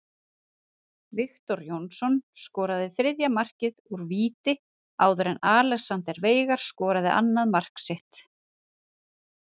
Viktor Jónsson skoraði þriðja markið úr víti áður en Alexander Veigar skoraði annað mark sitt.